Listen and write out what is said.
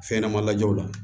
Fɛn ɲɛnɛma lajɛw la